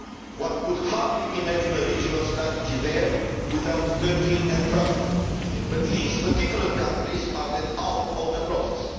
One could hardly imagine a regional strategy there without Turkey and Russia, but these particular countries are left out of the process.